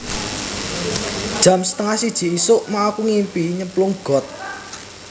Jam setengah siji isuk mau aku ngimpi nyemplung got